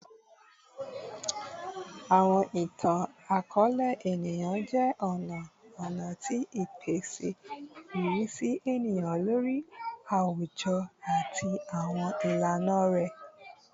Awọn itan-akọọlẹ eniyan jẹ ọna ọna ti pipese irisi eniyan lori awujọ ati awọn ilana rẹ